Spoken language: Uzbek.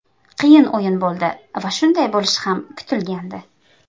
Qiyin o‘yin bo‘ldi va shunday bo‘lishi ham kutilgandi.